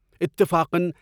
اتفاقاً